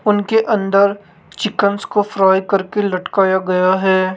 उनके अंदर चिकनस को फ्राई करके लटकाया गया है।